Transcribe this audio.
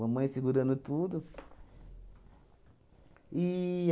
Mamãe segurando tudo.